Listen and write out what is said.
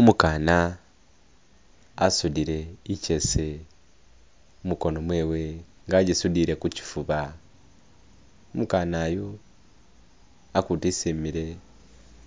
Umukana asudile ichese mukono mwewe nga agisudile kuchifuba, umukana yu hakutu hesi emile